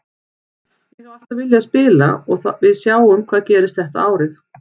Ég hef alltaf viljað spila þar og við sjáum hvað gerist þetta árið.